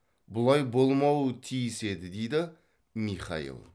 бұлай болмауы тиіс еді дейді михаил